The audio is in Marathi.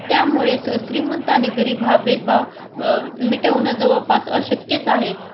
त्यामुळे श्रीमंत आणि गरीब हा भेदभाव मिटवणंजवळपास अशक्यच आहे.